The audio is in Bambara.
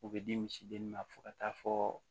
O bɛ di misidennin ma fo ka taa fɔ